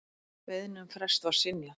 Beiðni um frest var synjað.